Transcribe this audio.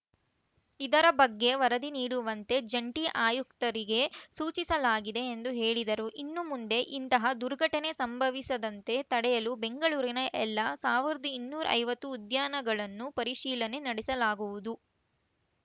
ಇದರ ಬಗ್ಗೆ ವರದಿ ನೀಡುವಂತೆ ಜಂಟಿ ಆಯುಕ್ತರಿಗೆ ಸೂಚಿಸಲಾಗಿದೆ ಎಂದು ಹೇಳಿದರು ಇನ್ನು ಮುಂದೆ ಇಂತಹ ದುರ್ಘಟನೆ ಸಂಭವಿಸದಂತೆ ತಡೆಯಲು ಬೆಂಗಳೂರಿನ ಎಲ್ಲಾ ಸಾವಿರದ ಇನ್ನೂರ ಐವತ್ತು ಉದ್ಯಾನಗಳನ್ನು ಪರಿಶೀಲನೆ ನಡೆಸಲಾಗುವುದು